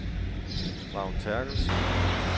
Vagn Therkelsen